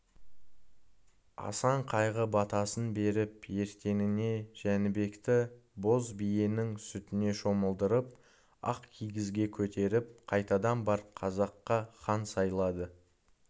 асан қайғы батасын беріп ертеңіне жәнібекті боз биенің сүтіне шомылдырып ақ кигізге көтеріп қайтадан бар қазаққа хан сайлады